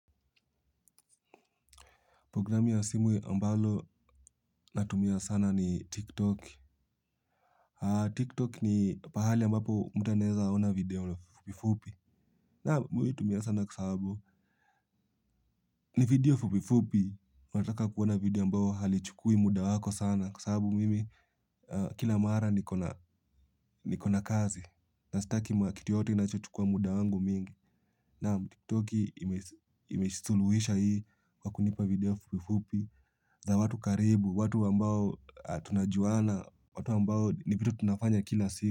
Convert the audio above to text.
Programu ya simu ambalo natumia sana ni TikTok. TikTok ni pahali ambapo mtu anaeza ona video fupi fupi. Naam mimi huitumia sana kwa sababu. Ni video fupi fupi. Unataka kuona video ambao halichukui muda wako sana. Kwa sababu mimi kila mara nikona kazi. Na sitaki kiti yoyote inachochukua muda wangu mingi. Naam TikTok imesuluhisha hii kwa kunipa video fupi fupi. Za watu karibu, watu ambao tunajuana, watu ambao ni vitu tunafanya kila siku.